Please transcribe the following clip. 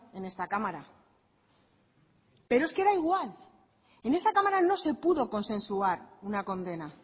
en esta cámara pero es que da igual en esta cámara no se pudo consensuar una condena